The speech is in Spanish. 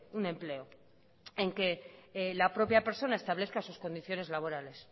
un empleo en que la propia persona establezca sus condiciones laborales